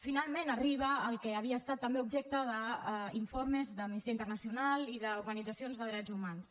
finalment arriba el que també havia estat objecte d’informes d’amnistia internacional i d’organitzacions de drets humans